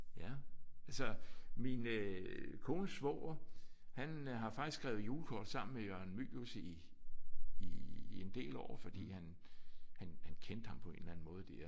Ja. Altså min øh kones svoger han har faktisk skrevet julekort sammen med Jørgen Mylius i i en del år fordi han han han kendte ham på en eller anden måde der